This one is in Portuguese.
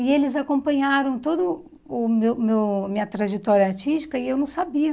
E eles acompanharam todo o meu meu minha trajetória artística e eu não sabia.